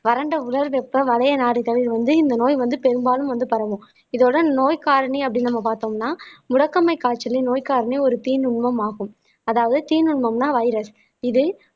வறண்ட உலர் வெப்பம் வளைய நாடுகளில் வந்து இந்த நோய் வந்து பெரும்பாலும் வந்து பரவும் இதோட நோய் காரணி அப்படின்னு நம்ம பார்த்தோம்ன்னா முடக்கமை காய்ச்சலையும் நோய் காரணமே ஒரு தீநுண்மம் ஆகும் அதாவது தீநுண்மம்ன்னா வைரஸ் இது